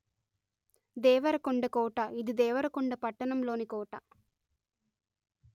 దేవరకొండ కోట ఇది దేవరకొండ పట్టణంలోని కోట